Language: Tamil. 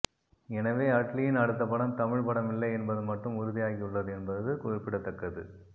எனவே அட்லியின் அடுத்த படம் தமிழ் படம் இல்லை என்பது மட்டும் உறுதி ஆகி உள்ளது என்பது குறிப்பிடத்தக்கது